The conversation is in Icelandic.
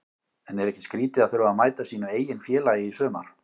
En er ekki skrítið að þurfa að mæta sínu eigin félagi í sumar?